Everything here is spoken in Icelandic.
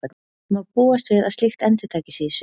Má búast við að slíkt endurtaki sig í sumar?